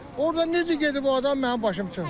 Orda necə gedib o adam mənim başım çıxmır.